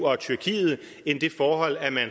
og tyrkiet